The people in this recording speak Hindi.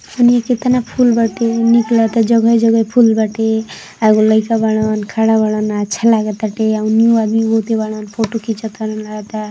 ओनिया केतना फुल बाटे निक लागता जगह-जगह फूल बाटे आ एगो लाइका बारन खड़ा बारन अच्छा लागताटे एगो न्यू आदमी बारन फोटो खींच तारन लागता।